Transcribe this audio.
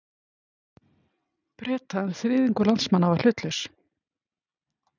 Breta, en þriðjungur landsmanna var hlutlaus.